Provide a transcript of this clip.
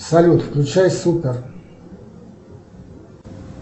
салют включай супер